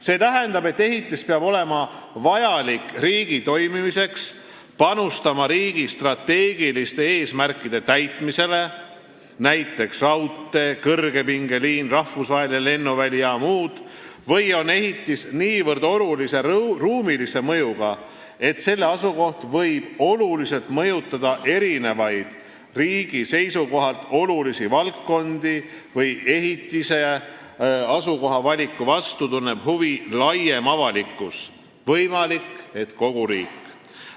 See tähendab, et ehitis peab olema vajalik riigi toimimiseks, panustama riigi strateegiliste eesmärkide täitmisele või ta peab olema niivõrd olulise ruumilise mõjuga, et tema asukoht võib oluliselt mõjutada erinevaid riigi seisukohalt tähtsaid valdkondi või selle asukoha vastu tunneb huvi laiem avalikkus, võimalik, et kogu riik.